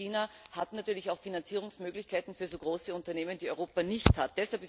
China hat natürlich auch Finanzierungsmöglichkeiten für so große Unternehmen, die Europa nicht hat.